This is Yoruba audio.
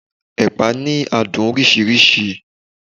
ẹpa ni adun orisirisi